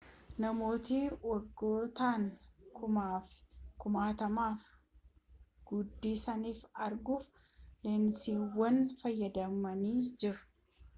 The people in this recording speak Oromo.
namootni waggoottan kumaafi kumaatamaaf guddisanii arguuf leensiiwwan fayyadamanii jiru